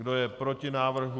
Kdo je proti návrhu?